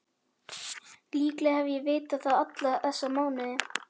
Líklega hef ég vitað það alla þessa mánuði.